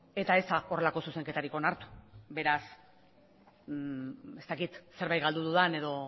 eta ez da horrelako zuzenketarik onartu beraz ez dakit zerbait galdu dudan